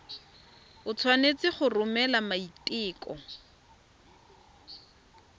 o tshwanetse go romela maiteko